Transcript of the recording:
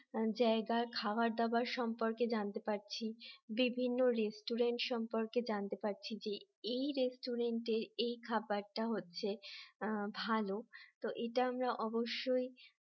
জায়গার খাবার দাবার সম্পর্কে জানতে পারছি বিভিন্ন রেস্টুরেন্ট সম্পর্কে জানতে পারছি যে এই রেস্টুরেন্টে এই খাবারটা হচ্ছে ভালো তো এটা আমরা অবশ্যই